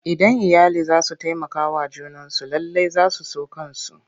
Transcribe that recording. Idan iyali za su taimakawa junansu lallai za su so kansu.